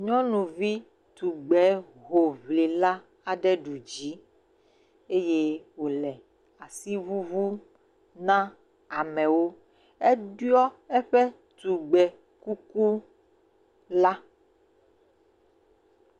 Nyɔnuvi tugbehoŋli la aɖe ɖu dzi eye wòle asi ŋuŋum na amewo, eɖuɔ eƒe tugbekuku la.